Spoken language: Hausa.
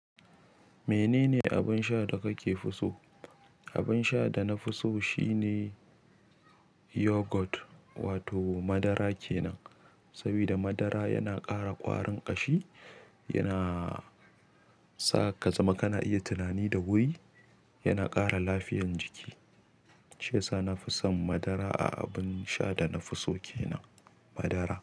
Menene abin sha da kake fi so? Abin sha da na fi so shine yogurt wato madara kenan. Saboda madara yana ƙara ƙwarin ƙashi, yana sa ka zama kana iya tunani da wuri, yana ƙara lafiyan jiki. Shiyasa na fi son madara a abin sha da na fi so kenan madara.